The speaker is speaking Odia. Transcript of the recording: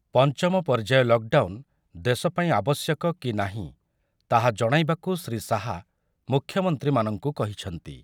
ପଞ୍ଚମ ପର୍ଯ୍ୟାୟ ଲକଡାଉନ ଦେଶ ପାଇଁ ଆବଶ୍ୟକ କି ନାହିଁ ତାହା ଜଣାଇବାକୁ ଶ୍ରୀ ଶାହା ମୁଖ୍ୟମନ୍ତ୍ରୀମାନଙ୍କୁ କହିଛନ୍ତି ।